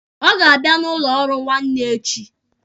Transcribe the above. Ọ ga-abịa n'ụlọ ọrụ m nwanne echi.